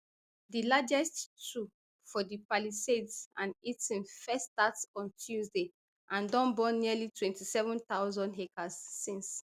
di largest two for di palisades and eaton first start on tuesday and don burn nearly twenty-seven thousand acres since